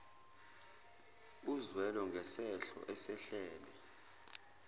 uzwelo ngesehlo esehlele